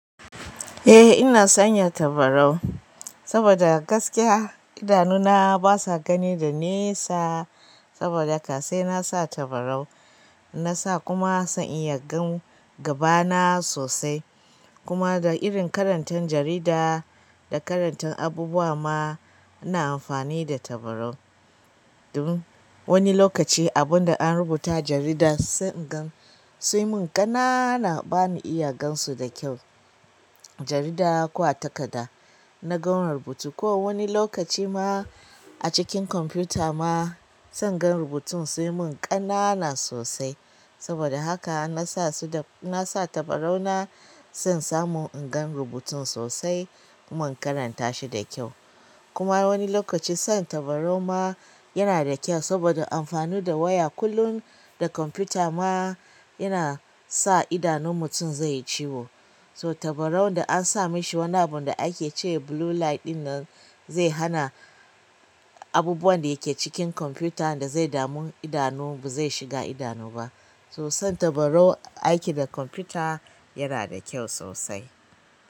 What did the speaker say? Eh ina sanya tabarau saboda gaskiya idanuna basa gani daga nesa, saboda haka sai nasa tabarau. Nasa kuma zan iya gan gabana sosai. Kuma da irin karantan jarida da karantan abubuwa ma ina amfani da tabarau. Domin wani lokaci abunda an rubuta a jarida sai ingan, suyimun ƙanana bani iya gansu da kyau. Jarida ko a takada na gan rubutu ko wani lokaci ma a cikin kwamfuta ma zan gan rubutun sai mun ƙanana sosai. Saboda haka nasa su da-- in nasa tabarau na zan samu ingan rubutun sosai kuma in karanta shi da kyau. Kuma wani lokaci sa tabarau ma yana da kyau saboda amfani da waya kullum da kwamfuta ma yana sa idanun mutum zai yi ciwo. So tabarau da ansa mishi wani abunda ake ce blue light ɗinnan zai hana abubuwan da yake cikin kwamfuta da zai damu idanu ba zai shiga idanu ba. So san tabarau aiki da kwamfuta yana da kyau sosai.